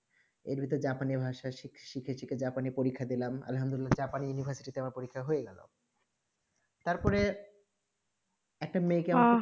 ভিতরে জাপানি ভাষা শিখে শিখে জাপানি পরীক্ষা দিলাম জাপানি university তে আমার পরীক্ষা হয়ে গেলো তার পরে একটা মেয়ে কে